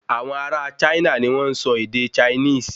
Awọn ará a China ní wọn n sọ ède Chinese